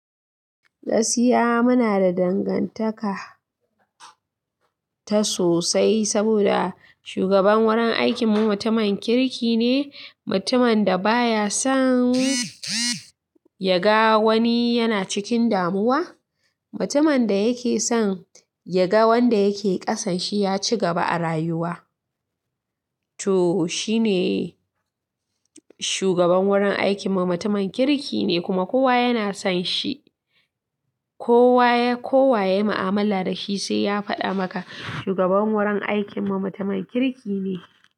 Gaskiya muna da dangantaka ta sosai saboda shugaban wurin aikinmu mutumin kirki ne, mutumin da baya son yaga wani yana cikin damuwa. Mutumin da yake son yaga wanda yake ƙasan shi ya ci gaba a rayuwa. To, shine shugaban wurin aikinmu mutumin kirki ne kuma kowa yana son shi. Kowa, kowa yayi mu'amala da shi sai ya faɗa maka shugaban wurin aikinmu mutumin kirki ne.